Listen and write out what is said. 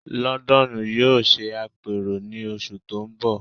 London yóò ṣe àpérò ní oṣù tó ń bọ̀